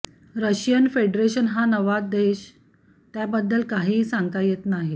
Russian federation हा नवा देश त्याबद्दल काहीही सांगत नाही